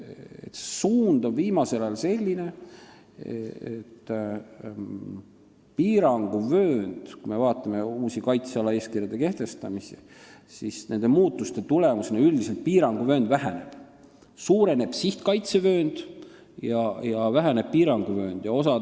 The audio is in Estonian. Kui me vaatame uute kaitse-eeskirjade kehtestamist, siis näeme, et suund on viimasel ajal olnud selline, et nende muudatuste tulemusena piiranguvöönd üldiselt väheneb, et sihtkaitsevöönd suureneb ja piiranguvöönd väheneb.